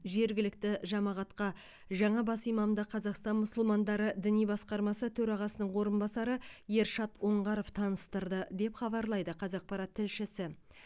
жергілікті жамағатқа жаңа бас имамды қазақстан мұсылмандары діни басқармасы төрағасының орынбасары ершат оңғаров таныстырды деп хабарлайды қазақпарат тілшісі